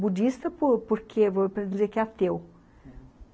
Budista por porque... vou dizer que é ateu, uhum.